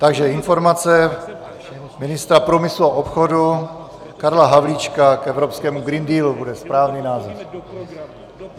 Takže Informace ministra průmyslu a obchodu Karla Havlíčka k evropskému Green Dealu bude správný název.